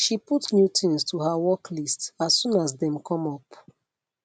she put new things to her work list as soon as dem come up